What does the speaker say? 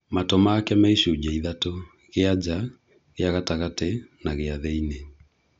Matũ maku me icuje ithatũ, gia jaa, gĩa gatagatĩ na gia thĩinĩ.